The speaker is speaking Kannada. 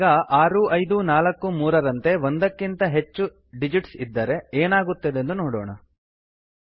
ನಾವೀಗ 6543 ಆರು ಐದು ನಾಲ್ಕು ಮೂರರಂತೆ ಒಂದಕ್ಕಿಂತ ಹೆಚ್ಚು ಡಿಜಿಟ್ಸ್ ಇದ್ದರೆ ಏನಾಗುತ್ತದೆಂದು ನೋಡೋಣ